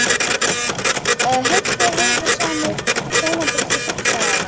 Heill þér heiðursmaður sómapiltur sextán ára.